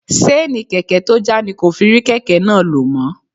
Seeni kèké tó já ni kò fi rí kèké náà lo mó.